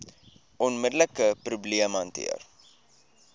onmiddelike probleem hanteer